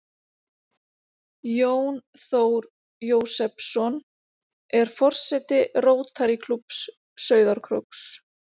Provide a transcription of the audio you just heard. Jón Þór Jósepsson, er forseti Rótarýklúbbs Sauðárkróks.